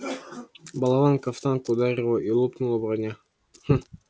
болванка в танк ударила и лопнула броня